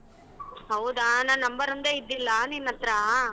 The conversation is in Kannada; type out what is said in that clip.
ಹೌದಾ ನನ್ number ಒಂದೇ ಇದ್ದಿಲ್ಲ ನೀನ್ ಹತ್ರ?